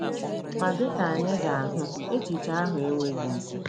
Ma dị ka anyị ga-ahụ, echiche ahụ enweghị isi